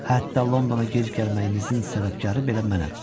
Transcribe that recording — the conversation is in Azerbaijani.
Hətta Londona gec gəlməyinizin səbəbkarı belə mənəm.